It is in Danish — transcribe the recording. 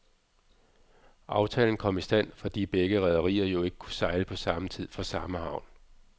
Aftalen kom i stand, fordi begge rederier jo ikke kunne sejle på samme tid fra samme havn.